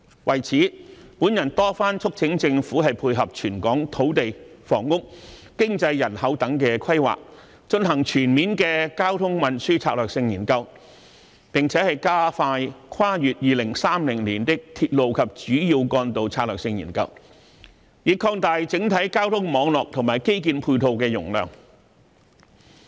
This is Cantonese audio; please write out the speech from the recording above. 為此，我多番促請政府配合全港土地、房屋、經濟、人口等規劃，進行全面的交通運輸策略性研究，並且加快《跨越2030年的鐵路及主要幹道策略性研究》，以擴大整體交通網絡和基建配套的容量。